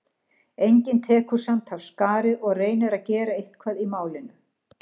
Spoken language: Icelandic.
Enginn tekur samt af skarið og reynir að gera eitthvað í málinu.